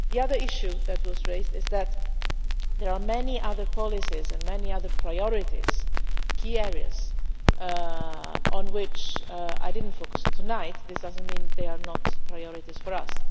The other issue that was raised is that there are many other policies and many other priorities key areas on which I did not focus tonight. This does not mean that they are not priorities for us.